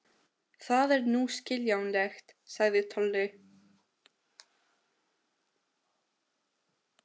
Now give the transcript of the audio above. Það er nú skiljanlegt, sagði Tolli.